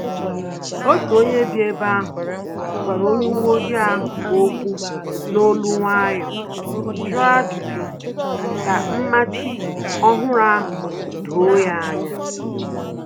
Otu onye bi ebe ahu gwara onye uwe ojii ahụ okwu n'olu nwayọọ, jụọ ajụjụ ka mmachi ọhụrụ ahụ doo ya anya